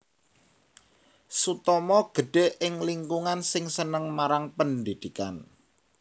Sutomo gedhé ing lingkungan sing seneng marang pendhidhikan